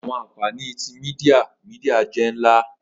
Awọn anfani ti media media jẹ nla.